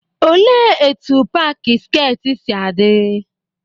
Olee etu paaki skeet si adị?